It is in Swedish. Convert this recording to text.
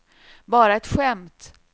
bara ett skämt